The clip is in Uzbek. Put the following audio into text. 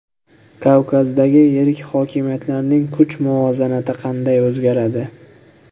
Kavkazdagi yirik hokimiyatlarning kuch muvozanati qanday o‘zgaradi?